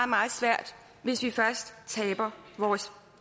meget svært hvis vi først taber vores